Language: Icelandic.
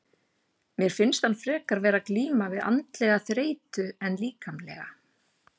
Mér finnst hann frekar vera að glíma við andlega þreytu en líkamlega.